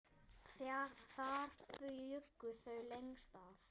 Þar bjuggu þau lengst af.